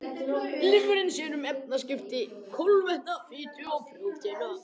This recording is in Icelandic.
Lifrin sér um efnaskipti kolvetna, fitu og prótína.